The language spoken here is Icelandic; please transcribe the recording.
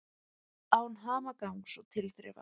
Án hamagangs og tilþrifa.